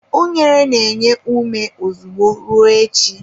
Unere na-enye ume ozugbo, ruo echi.